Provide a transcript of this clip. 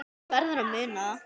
Þú verður að muna það.